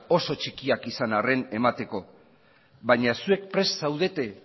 oso txikiak izan arren emateko baina zuek prest zaudete